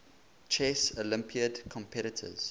chess olympiad competitors